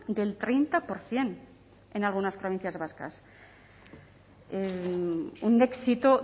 del treinta por ciento en algunas provincias vascas un éxito